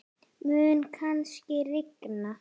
Mun kannski rigna?